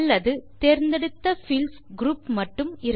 அல்லது தேர்ந்தெடுத்த fields group மட்டும்